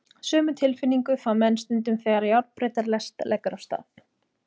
Sömu tilfinningu fá menn stundum þegar járnbrautarlest leggur af stað.